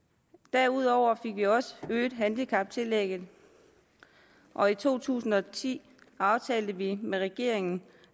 derudover fik vi også øget handicaptillægget og i to tusind og ti aftalte vi med regeringen